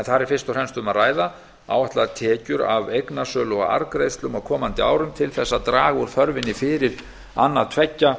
og fremst um að ræða áætlaðar tekjur af eignasölu og arðgreiðslum á komandi árum til þess að draga úr þörfinni fyrir annað tveggja